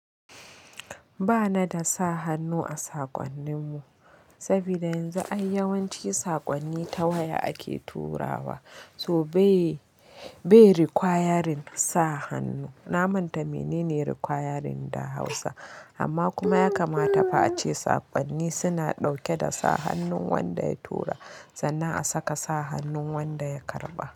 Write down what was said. Ba na da sa hannu a sakonnin mu, saboda yanzu ai yawanci sakonni ta waya ake turawa, so bayae requiring sa hannu. Na manta menene requiring da Hausa, amma kuma ya kamata fa a ce sakonni suna dauke da sa hannun wanda ya tura sannan a saka sa hannun wanda ya karba.